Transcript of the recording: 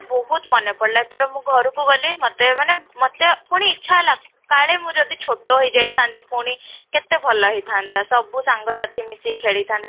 ବହୁତ ମନେପଡିଲା ଏଥର ମୁଁ ଘରକୁ ଗଲି ମୋତେ ମାନେ ମୋତେ ପୁଣି ଇଛା ହେଲା କାଳେ ମୁଁ ଯଦି ଛୋଟ ହେଇଯାଇଥାନ୍ତି ପୁଣି କେତେ ଭଲ ହେଇଥାନ୍ତା ସବୁ ସାଙ୍ଗ ସାଥି ମିଶି ଖେଳିଥାନ୍ତେ